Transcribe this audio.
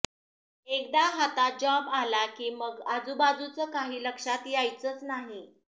एकदा हातात जॉब आला की मग आजूबाजूचं काही लक्षात यायचंच नाही